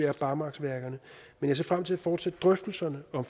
er barmarksværkerne men jeg ser frem til at fortsætte drøftelserne om